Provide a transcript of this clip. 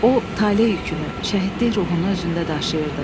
O, tale yükünü, şəhidlik ruhunu özündə daşıyırdı.